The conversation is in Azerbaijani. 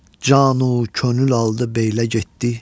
Canü könül aldı beylə getdi.